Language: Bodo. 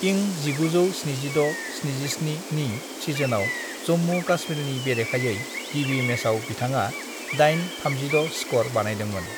इं 1976-77 नि सिजनआव जम्मु-काश्मीरनि बेरेखायै गिबि मैचआव बिथाङा 8/36 स्कोर बानायदोंमोन।